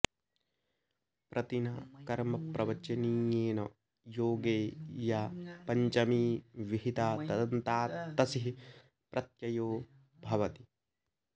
प्रतिना कर्मप्रवचनीयेन योगे या पञ्चमी विहिता तदन्तात् तसिः प्रत्ययो भवति